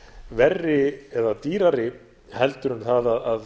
verri eða dýrari heldur en það að